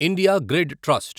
India grid trust